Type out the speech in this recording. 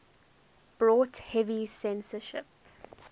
brought heavy censorship